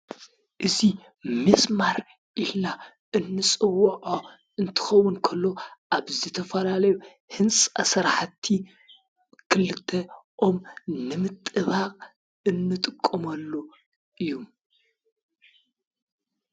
እዙ ምስማር ኢሕና እንጽውዖ እንትኸውንከሎ ኣብ ዘተፈላለዩ ሕንፃ ሠራሓቲ ክልተ ኦም ንምጥባቕ እንጥቆምኣሉ እዩ።